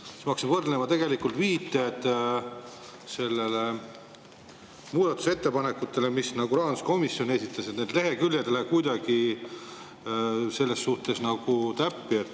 Ja siis ma hakkasin võrdlema ja tegelikult viidete puhul muudatusettepanekutele, mis rahanduskomisjon esitas, lehekülje ei lähe kuidagi täppi.